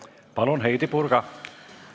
Palun, Heidy Purga!